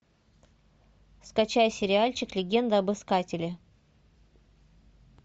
скачай сериальчик легенда об искателе